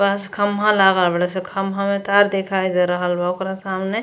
पांच खम्भा लागल हय। खम्भा में तार दिखाई दे रहल बा ओकरा सामने --